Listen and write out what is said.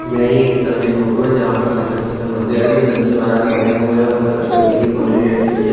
यहाँ एक स्तम में फोटो है जहाँ पर शंकर जी का मंदिर है जो नन्दी महाराज बने हुए है उपर शंकर जी की कुंडली रखी हुई है।